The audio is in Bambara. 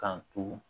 Kan to